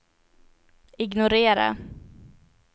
ignorera